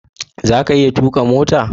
zaka iya tuƙa mota?